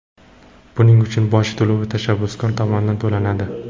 Buning uchun boj to‘lovi tashabbuskor tomonidan to‘lanadi.